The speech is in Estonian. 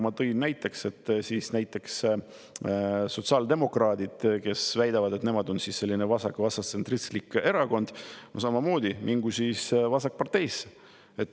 Ma tõin näiteks, et näiteks sotsiaaldemokraadid, kes väidavad, et nemad on selline vasaktsentristlik erakond, võivad samamoodi minna siis Vasakparteisse.